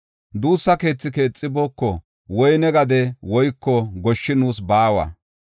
Duussa keethi keexibooko; woyne gade woyko goshshi nuus baawa.